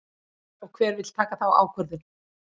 Og hver vill taka þá ákvörðun?